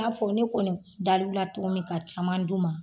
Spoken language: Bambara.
I n'a fɔ ne kɔni dalula cogo min ka caman d'u ma